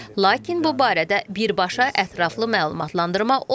Lakin bu barədə birbaşa ətraflı məlumatlandırma olmayıb.